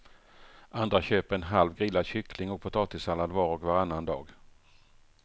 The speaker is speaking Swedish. Andra köper en halv grillad kyckling och potatissallad var och varannan dag.